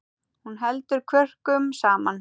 Hún heldur kvörkum saman.